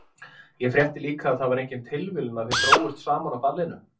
Ég frétti líka að það var engin tilviljun að þið drógust saman á ballinu.